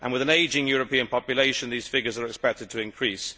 With an ageing European population, these figures are expected to increase.